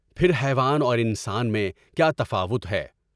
پھر حیوان اور انسان میں کیا تفاوت ہے؟